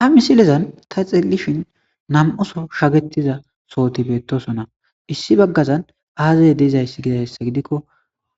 ha misilezan ta xilishin nam7oso shagetiza sohoti beettosonna issi baggazan aazey deizayss gidayssa gidikko